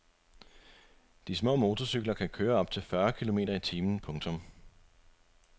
De små motorcykler kan køre op til fyrre kilometer i timen. punktum